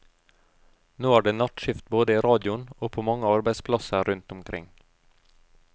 Nå er det nattskift både i radioen og på mange arbeidsplasser rundt omkring.